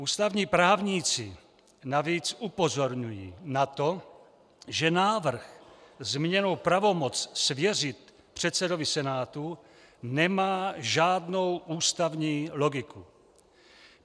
Ústavní právníci navíc upozorňují na to, že návrh zmíněnou pravomoc svěřit předsedovi Senátu nemá žádnou ústavní logiku.